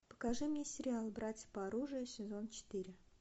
покажи мне сериал братья по оружию сезон четыре